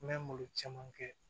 N bɛ malo caman kɛ